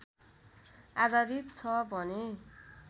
आधारित छ भने